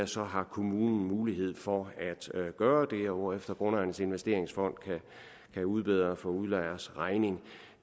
så har kommunen mulighed for at gøre det hvorefter grundejernes investeringsfond kan udbedre for udlejers regning